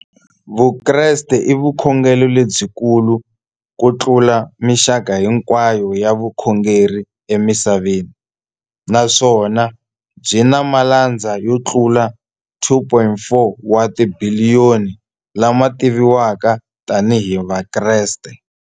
Vukreste i vukhongeri lebyi kulu kutlula mixaka hinkwayo ya vukhongeri emisaveni, naswona byi na malandza yo tlula 2.4 wa tibiliyoni, la ma tiviwaka tani hi Vakreste.